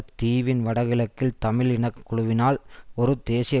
தீவின் வடக்குகிழக்கில் தமிழ் இனக்குழுவினால் ஒரு தேசிய